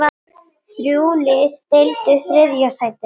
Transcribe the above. Þrjú lið deildu þriðja sætinu.